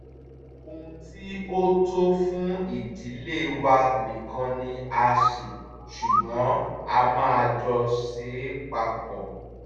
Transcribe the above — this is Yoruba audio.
ohun tí ó tó fún ìdílé wa nìkan ni a ṣe ṣùgbọ́n a máa jọ ṣe é papọ̀